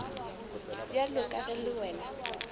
bjalo ka ge le wena